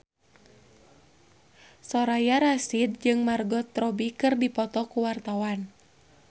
Soraya Rasyid jeung Margot Robbie keur dipoto ku wartawan